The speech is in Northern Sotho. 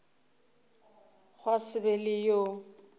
gwa se be le yo